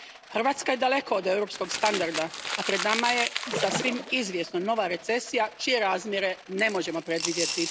Hrvatska je daleko od europskog standarda, a pred nama je, sasvim izvjesno, nova recesija čije razmjere ne možemo predvidjeti.